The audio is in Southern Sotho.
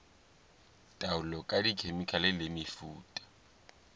taolo ka dikhemikhale le mefuta